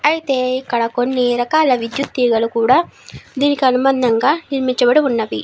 అయతే ఇక్కడ కొని రకాల విద్యత్ తీగలు కూడా దీని అనుబంధముగా నిర్మించబడి ఉన్నవి.